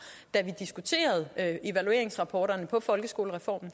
da vi diskuterede evalueringsrapporterne om folkeskolereformen